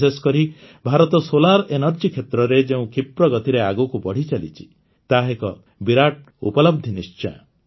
ବିଶେଷକରି ଭାରତ ସୌର ଶକ୍ତି କ୍ଷେତ୍ରରେ ଯେଉଁ କ୍ଷୀପ୍ରଗତିରେ ଆଗକୁ ବଢ଼ିଚାଲିଛି ତାହା ଏକ ବିରାଟ ଉପଲବଧି ନିଶ୍ଚୟ